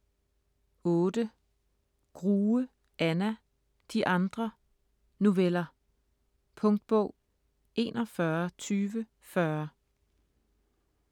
Grue, Anna: De andre: noveller Punktbog 412040